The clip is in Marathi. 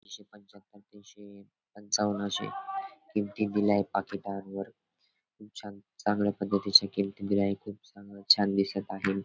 एकशे पंचाहात्तर तीनशे पंचावन्न आशे किमती दिलाय पाकिटांवर. खूप छान चांगल्या पद्धतीच्या किमती दिल्या आहेत. खूप चांगल छान दिसत आहे.